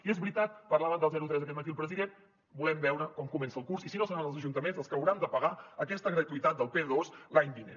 i és veritat parlava del zero tres aquest matí el president volem veure com comença el curs i si no seran els ajuntaments els que hauran de pagar aquesta gratuïtat del p2 l’any vinent